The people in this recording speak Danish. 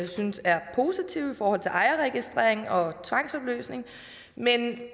synes er positive og er til ejerregistrering og tvangsopløsning men